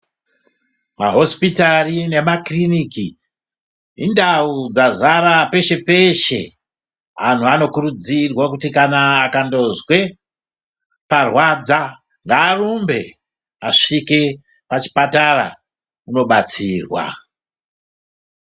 Mahosipitari nemakiriniki indau dza zara peshe peshe anhu anokurudzirwa kuti kana akandozwe parwadza ngaarumbe asvike pachipatara undobatsirwa.